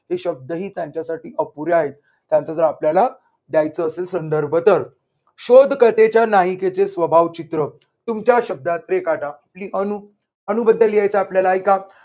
शब्द ही त्यांच्यासाठी अपुरे आहेत त्यांच जर आपल्याला द्यायचं असेल संदर्भ तर शोध कथेच्या नाइकेचे स्वभाव चित्र तुमच्या शब्दात रेखाटा. ये अनु अनुबद्दल लिहायच आपल्याला ऐका.